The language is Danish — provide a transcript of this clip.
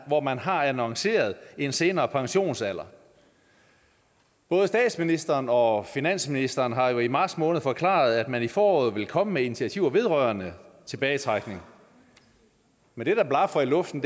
hvor man har annonceret en senere pensionsalder både statsministeren og finansministeren har jo i marts måned forklaret at man i foråret ville komme med initiativer vedrørende tilbagetrækning men det der blafrer i luften